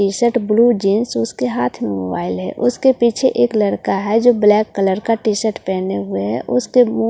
T shirt blue jeans उसके हाथ में मोबाइल है उसके पीछे एक लड़का है जो ब्लैक कलर का टीशर्ट पहने हुए हैं उसके वो --